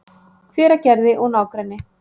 Hveragerði og nágrenni.